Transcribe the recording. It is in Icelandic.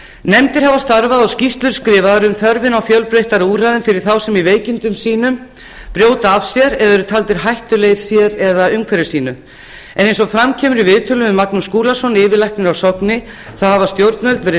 nefndir hafa starfað og skýrslur skrifaðar um þörfina á fjölbreyttari úrræðum fyrir þá sem í veikindum sínum brjóta af sér eða eru taldir hættulegir sér eða umhverfi sínu eins og fram kemur í viðtölum við magnús skúlason yfirlækni á sogni hafa stjórnvöld verið